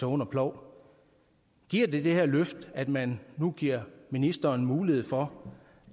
under plov giver det det her løft at man nu giver ministeren mulighed for